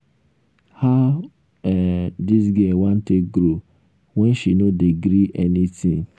how um dis girl wan take grow when she no dey gree any tin.